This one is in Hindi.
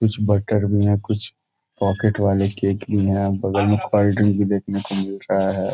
कुछ बटर भी है कुछ पॉकेट वाले केक भी है और बगल में कोल्ड ड्रिंक भी देखने को मिल रहा है।